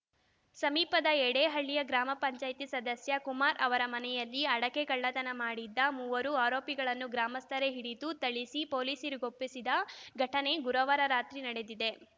ಸಮೀಪದ ಯಡೇಹಳ್ಳಿಯ ಗ್ರಾಮ ಪಂಚಾಯ್ತಿ ಸದಸ್ಯ ಕುಮಾರ್‌ ಅವರ ಮನೆಯಲ್ಲಿ ಅಡಕೆ ಕಳ್ಳತನ ಮಾಡಿದ್ದ ಮೂವರು ಆರೋಪಿಗಳನ್ನು ಗ್ರಾಮಸ್ಥರೇ ಹಿಡಿದು ಥಳಿಸಿ ಪೊಲೀಸರಿಗೊಪ್ಪಿಸಿದ ಘಟನೆ ಗುರುವಾರ ರಾತ್ರಿ ನಡೆದಿದೆ